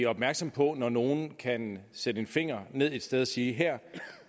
opmærksomme på når nogen kan sætte en finger ned et sted og sige at her